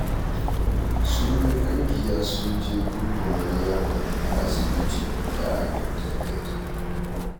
Sun yi ƙungiya sun je duba Maryama a asibitin da aka kwantar da ita